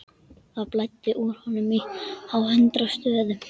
Það blæddi úr honum á hundrað stöðum.